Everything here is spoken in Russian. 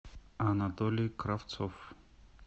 анатолий кравцов